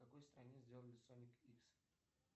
в какой стране сделали соник икс